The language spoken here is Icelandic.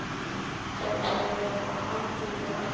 Gæti verið á aldur við hann.